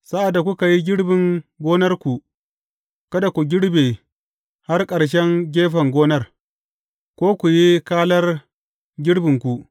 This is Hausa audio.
Sa’ad da kuka yi girbin gonarku, kada ku girbe har ƙarshen gefen gonar, ko ku yi kalar girbinku.